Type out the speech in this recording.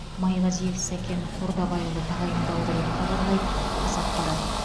майғазиев сәкен қордабайұлы тағайындалды деп хабарлайды қазақпарат